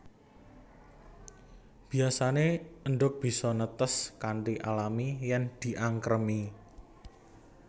Biyasané endhog bisa netes kanthi alami yèn diangkremi